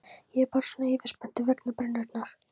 Ég er bara svona yfirspenntur vegna brennunnar.